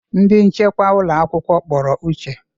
Ndị nchekwa ụlọ akwụkwọ kpọrọ Uche.